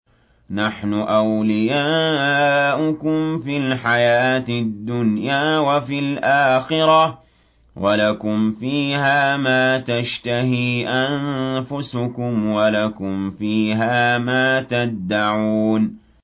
نَحْنُ أَوْلِيَاؤُكُمْ فِي الْحَيَاةِ الدُّنْيَا وَفِي الْآخِرَةِ ۖ وَلَكُمْ فِيهَا مَا تَشْتَهِي أَنفُسُكُمْ وَلَكُمْ فِيهَا مَا تَدَّعُونَ